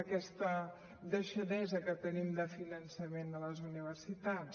d’aquesta deixadesa de finançament de les universitats